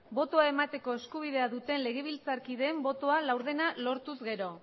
botoa emateko eskubidea duten legebiltzarkideen botoen laurdena lortuz gero